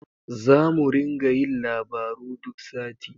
Zamu ringa yin labaru duk sati.